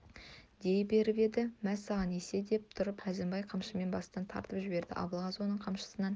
дей беріп еді мә саған есе деп тұрып әзімбай қамшымен бастан тартып жіберді абылғазы оның қамшысынан